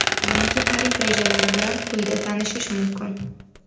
Yangi tarif rejalari bilan quyida tanishish mumkin .